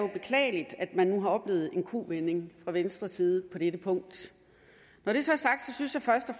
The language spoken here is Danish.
beklageligt at man nu har oplevet en u vending fra venstres side på dette punkt når det så er sagt synes jeg først og